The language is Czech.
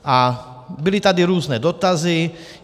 A byly tady různé dotazy.